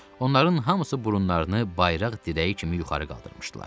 Onların hamısı burunlarını bayraq dirəyi kimi yuxarı qaldırmışdılar.